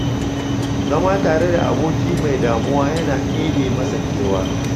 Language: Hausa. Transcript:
Zama tare da aboki mai damuwa yana ɗebe masa kewa.